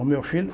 O meu filho?